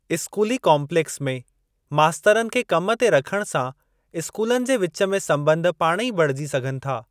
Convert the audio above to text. स्कूली काम्पलेक्स में मास्तरनि खे कम ते रखण सां स्कूलनि जे विच में संॿंध पाणेई बणिजी सघनि था।